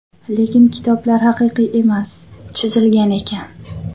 Lekin kitoblar haqiqiy emas, chizilgan ekan!.